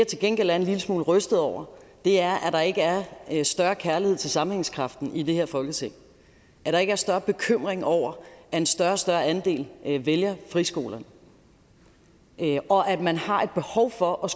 til gengæld er en lille smule rystet over er at der ikke er større kærlighed til sammenhængskraften i det her folketing at der ikke er større bekymring over at en større og større andel vælger friskolerne og at man har et behov for at